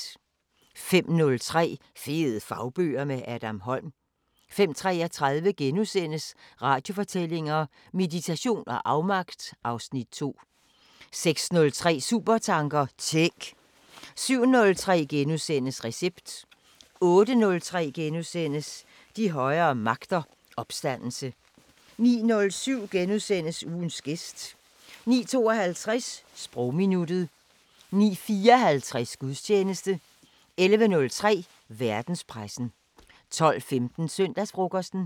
05:03: Fede fagbøger – med Adam Holm 05:33: Radiofortællinger: Meditation og afmagt (Afs. 2)* 06:03: Supertanker: Tænk! 07:03: Recept * 08:03: De højere magter: Opstandelse * 09:07: Ugens gæst * 09:52: Sprogminuttet 09:54: Gudstjeneste 11:03: Verdenspressen 12:15: Søndagsfrokosten